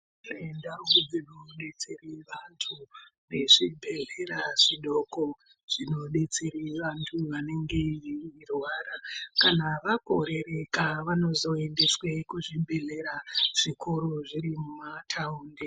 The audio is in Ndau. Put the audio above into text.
Kune ndau dzino detsere vantu vezvi bhedhlera zvidoko zvino detsere vantu vanenge vei rwara kana vakorereka vanozo endeswe ku zvibhedhlera zvikuru zviri muma taundi.